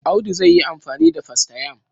Audu zai yi amfani da fastayam.